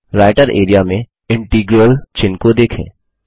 writer area में integral चिन्ह को देखें